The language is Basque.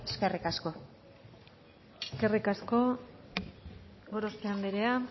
eskerrik asko eskerrik asko gorospe andrea